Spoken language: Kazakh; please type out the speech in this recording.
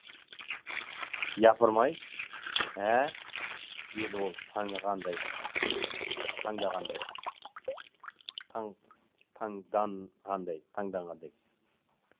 япыр май ә деді ол танығандай таңдағандай таңданғандай таңданғандай